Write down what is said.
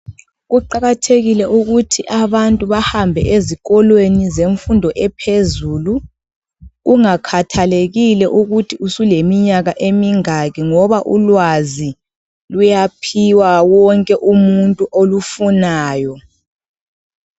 Kuqakathekile ukuthi abantu bahambe ezikolo zemfundo ephezulu. Kungakhathalekile ukuthi usuleminyaka emingaki, ngoba ulwazi luyaphiwa wonke umuntu olufunayo.